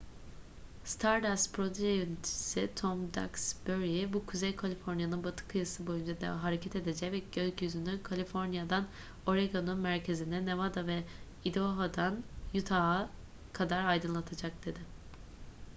stardust proje yöneticisi tom duxbury bu kuzey kaliforniya'nın batı kıyısı boyunca hareket edecek ve gökyüzünü kaliforniya'dan oregon'un merkezine nevada ve idaho'dan utah'a kadar aydınlatacak dedi